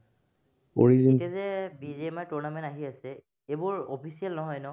এতিয়া যে B J mart tournament আহি আছে, সেইবোৰ official নহয়, ন?